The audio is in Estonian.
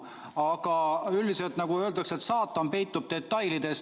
Aga üldiselt, nagu öeldakse, saatan peitub detailides.